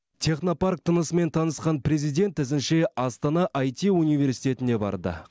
технопарк тынысымен танысқан президент ізінше астана іт университетіне барды